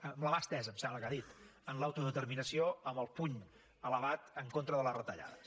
amb la mà estesa em sembla que ha dit en l’autodeterminació amb el puny elevat en contra de les retallades